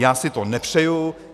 Já si to nepřeju.